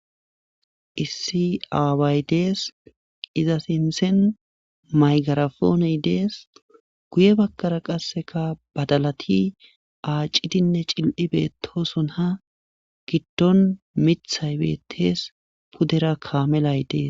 issi aaway dees ize sinthen migrapone dees guye baggara qassika badalati aacidinne cil7i beettoosona giddon mittay beettes pudera kaamelay des.